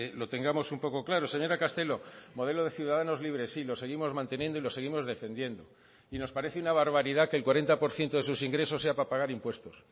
lo tengamos un poco claro señora castelo modelo de ciudadanos libres sí lo seguimos manteniendo y lo seguimos defendiendo y nos parece una barbaridad que el cuarenta por ciento de sus ingresos sea para pagar impuestos